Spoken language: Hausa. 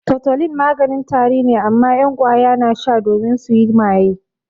Tutolin maganin tari ne amma 'yan ƙwaya na sha domin suyi maye.